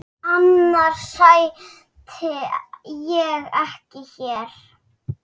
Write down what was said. Annars sæti ég ekki hér.